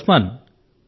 hello Osman